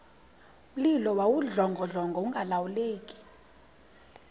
mlilo wawudlongodlongo ungalawuleki